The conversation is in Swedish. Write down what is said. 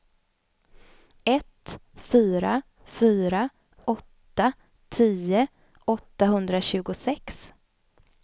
ett fyra fyra åtta tio åttahundratjugosex